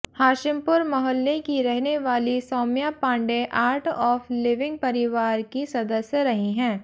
हाशिमपुर मोहल्ले की रहने वाली Saumya Pandey art of living परिवार की सदस्य रही हैं